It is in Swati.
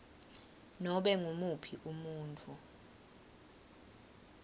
nobe ngumuphi umuntfu